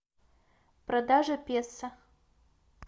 продажа песо